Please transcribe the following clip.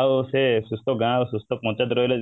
ଆଉ ସେ ଗାଁ ସୁସ୍ଥ ପଞ୍ଚାୟତ ରହିଲେ